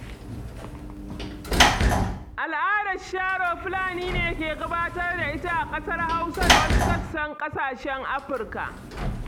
Al'adar sharo Fulani ne ke gabatar da ita a ƙasar Hausa da wasu sassan ƙasashen Afirka.